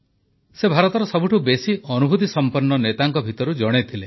ସେ ଭାରତର ସବୁଠୁ ବେଶି ଅନୁଭୂତିସଂପନ୍ନ ନେତାଙ୍କ ଭିତରୁ ଜଣେ ଥିଲେ